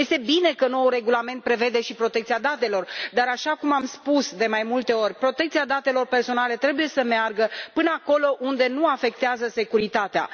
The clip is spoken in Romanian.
Este bine că noul regulament prevede și protecția datelor, dar așa cum am spus de mai multe ori, protecția datelor personale trebuie să meargă până acolo unde nu afectează securitatea.